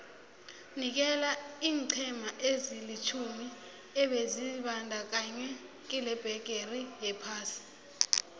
nikela iinqhema ezilitjhumi ebezizibandakanye kilebhigiri yephasi